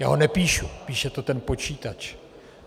Já ho nepíšu, píše to ten počítač.